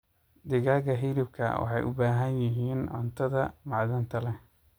Digaaga hiliibka waxay u baahan yihiin cuntadha macdanta leeh.